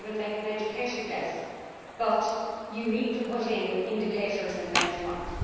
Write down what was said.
you can even make an educated guess, but you need to put in indicators and benchmarks.